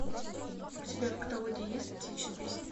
у тебя в каталоге есть птичьи песни